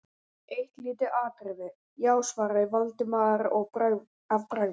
Eitt lítið atriði, já- svaraði Valdimar að bragði.